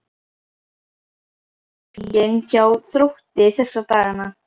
Hvernig er stemningin hjá Þrótti þessa dagana?